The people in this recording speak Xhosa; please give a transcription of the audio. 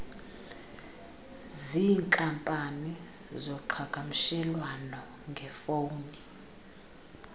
ziinkampani zoqhakamshelwano ngefowuni